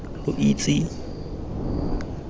lo isitse bogadi lo tle